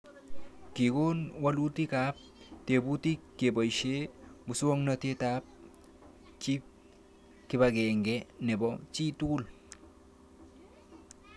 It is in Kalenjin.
Kikon walutik ab tebutik kepoishe muswognatet ab kipag�ng'e nepo chii tugul